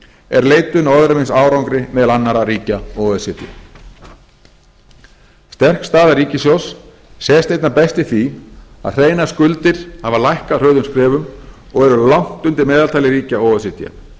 er leitun á öðrum eins árangri meðal annarra ríkja o e c d sterk staða ríkissjóðs sést einna best í því að hreinar skuldir hafa lækkað hröðum skrefum og eru langt undir meðaltali ríkja o e c d